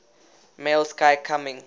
male sky coming